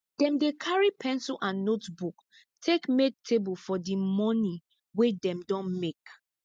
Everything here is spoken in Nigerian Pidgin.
dem dey carry pencil and notebook take make table of di moni wey dem don make